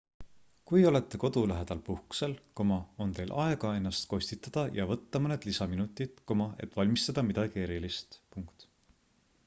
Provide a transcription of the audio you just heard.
kui olete kodu lähedal puhkusel on teil aega ennast kostitada ja võtta mõned lisaminutid et valmistada midagi erilist